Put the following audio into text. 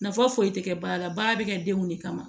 Nafa foyi tɛ kɛ baara la baara bɛ kɛ denw de kama